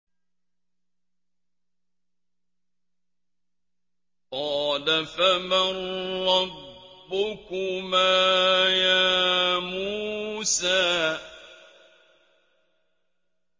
قَالَ فَمَن رَّبُّكُمَا يَا مُوسَىٰ